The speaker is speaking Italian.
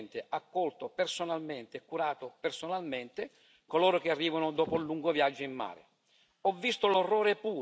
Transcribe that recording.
ho soccorso personalmente, accolto personalmente, e curato personalmente coloro che arrivano dopo un lungo viaggio in mare.